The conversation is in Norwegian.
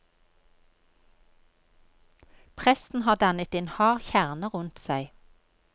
Presten har dannet en hard kjerne rundt seg.